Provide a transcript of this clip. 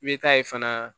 I bɛ taa ye fana